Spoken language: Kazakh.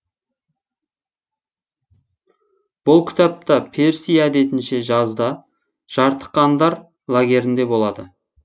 бұл кітапта перси әдетінше жазда жартықандар лагерінде болады